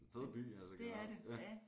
Fed by altså generelt ja